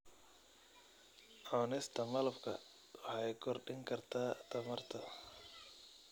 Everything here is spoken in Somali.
Cunista malabka waxay kordhin kartaa tamarta.